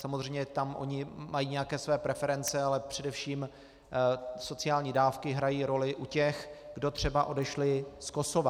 Samozřejmě tam oni mají nějaké své preference, ale především sociální dávky hrají roli u těch, kdo třeba odešli z Kosova.